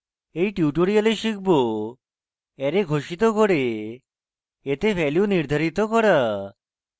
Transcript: in tutorial শিখব array ঘোষিত করে এতে ভ্যালু নির্ধারিত করা